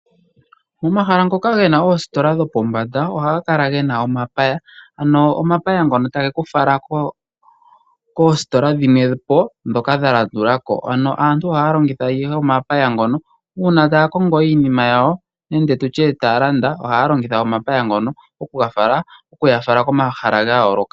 Omahala ngoka gena oositola dhopombanda ohaga kala gena omapaya ano omapaya ngono tage kufala koositola dhimwe po ndhoka dhalandulako. Ano aantu ohaya longitha omapaya ngono uuna taya kongo iinima yawo nenge tutye taya landa ohaya longitha omapaya ngono okuya fala komahala gayooloka.